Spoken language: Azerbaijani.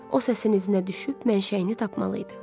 O səsini izinə düşüb mənşəyini tapmalı idi.